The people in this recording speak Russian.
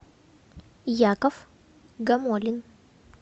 яков гамолин